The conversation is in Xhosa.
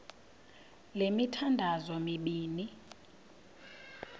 le mithandazo mibini